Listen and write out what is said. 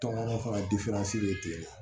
Tɔgɔ bɛ tigɛ